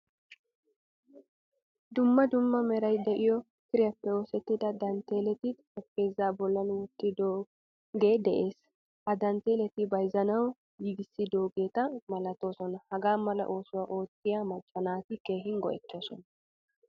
Dumma dumma meray de'iyo kiriyappe oosettida dantteleti xaraphphezza bollan wottidoge de'ees. Ha dantteletti bayzzanawu giigisidogetta milatoosona. Hagaa mala oosuwaa oottiyaa macca naati keehin go'ettosona.